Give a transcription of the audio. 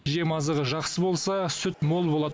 жем азығы жақсы болса сүт мол болады